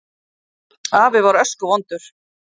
Afi var öskuvondur.